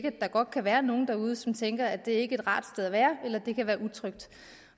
at der godt kan være nogle derude som tænker at det ikke er et rart sted at være eller at det kan være utrygt